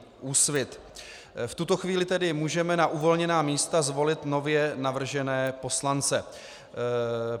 V tuto chvíli tedy můžeme na uvolněná místa zvolit nově navržené poslance.